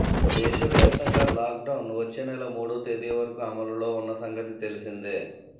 దేశవ్యాప్తంగా lockdown వచ్చేనెల మూడో తేదీ వరకు అమలులో ఉన్న సంగతి తెలిసిందే